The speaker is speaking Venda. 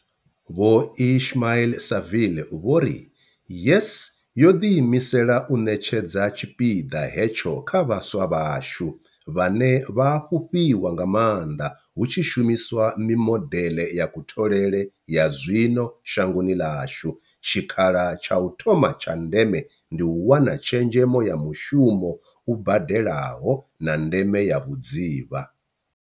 Vho Ismail-Saville vho ri, YES yo ḓiimisela u ṋetshedza tshipiḓa hetsho kha vhaswa vhashu, vhane vha a fhufhiwa nga maanḓa hu tshi shumiswa mimodeḽe ya kutholele ya zwino shangoni ḽashu, tshikhala tsha u thoma tsha ndeme ndi u wana tshezhemo ya mushumo u badelaho, na ndeme ya vhudzivha.